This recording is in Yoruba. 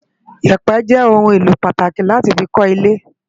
Iyèpè jè oùn éló pàtáki láti fi kò ilè